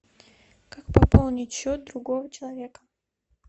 как пополнить счет другого человека